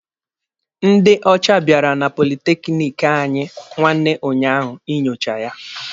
Ndị ocha biara na politekiniki anyị nwanne unyaahụ inyocha ya.